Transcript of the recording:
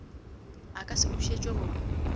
e ka se bušetšwe go